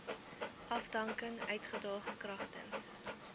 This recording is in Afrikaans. afdanking uitdaag kragtens